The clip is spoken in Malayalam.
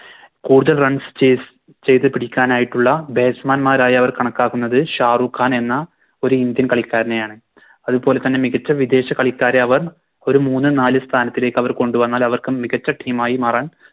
കൂടുതൽ Runs chase ചെയ്ത പിടിക്കാനായിട്ടുള്ള Batsman മ്മാരായി അവർ കണക്കാക്കുന്നത് ഷാരൂഖ്‌ഹാൻ എന്ന ഒരു Indian കളിക്കാരനെയാണ് അതുപോലെ തന്നെ മികച്ച വിദേശ കളിക്കാരെ അവർ ഒരു മൂന്നും നാലും സ്ഥാനത്തേക്ക് അവർ കൊണ്ടുവന്നാൽ അവർക്ക് മികച്ച Team ആയി മാറാൻ